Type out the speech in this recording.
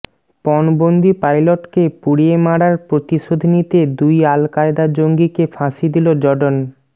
পণবন্দি পাইলটকে পুড়িয়ে মারার প্রতিশোধ নিতে দুই আল কায়দা জঙ্গিকে ফাঁসি দিল জর্ডন